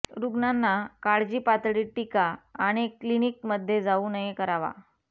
रुग्णांना काळजी पातळी टीका आणि क्लिनिकमध्ये जाऊ नये करावा